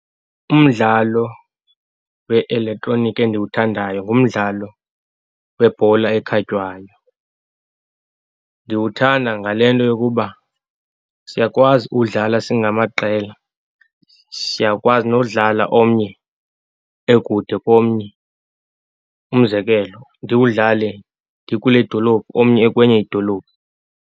Umdlalo we-elektroniki endiwuthandayo ngumdlalo webhola ekhatywayo. Ndiwuthanda ngale nto yokuba siyakwazi uwudlala singamaqela. Siyakwazi nowudlala omnye ekude komnye, umzekelo ndiwudlale ndikule dolophu omnye ekwenye idolophu.